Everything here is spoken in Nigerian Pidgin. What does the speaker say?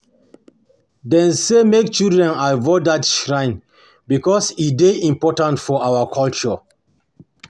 them say make children avoid that shrine because e dey important for our culture